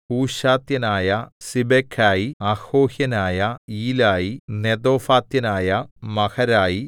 ഹൂശാത്യനായ സിബെഖായി അഹോഹ്യനായ ഈലായി നെതോഫാത്യനായ മഹരായി